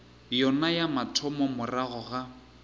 yona ya mathomo morago ga